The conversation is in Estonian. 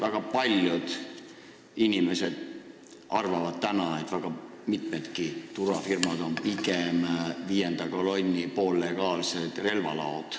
Väga paljud inimesed arvavad, et väga mitmed turvafirmad on meil pigem viienda kolonni poollegaalsed relvalaod.